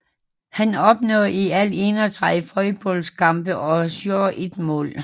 Han opnåede i alt 31 fodboldlandskampe og scorede ét mål